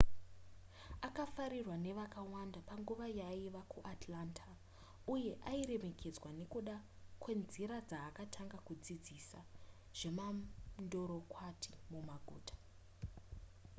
akafarirwa nevakawanda panguva yaaiva kuatlanta uye airemekedzwa nekuda kwenzira dzaakatanga dzekudzidzisa zvemandorokwati mumaguta